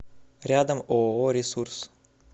рядом ооо ресурс